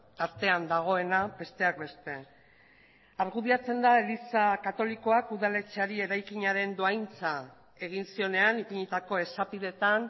tartean dagoena besteak beste argudiatzen da eliza katolikoak udaletxeari eraikinaren dohaintza egin zionean ipinitako esapideetan